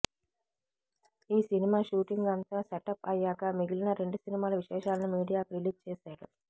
ఈ cinema shooting అంతా setup అయ్యాక మిగిలిన రెండు సినిమాల విశేషాలను మీడియాకు రిలీజ్ చేసాడు